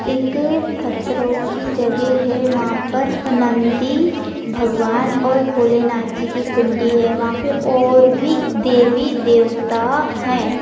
एक पत्थरों की जगे है वहाँ पर नंदी भगवान और बोलेनाथ जी के पिंडी है वहाँ पे और भी देवी देवता है।